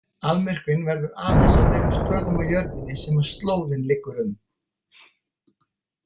Almyrkvinn verður aðeins á þeim stöðum á jörðinni sem slóðin liggur um.